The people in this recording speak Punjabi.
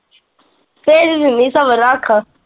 ਭੇਜ ਦਿੰਨੀ ਸਬਰ ਰੱਖ।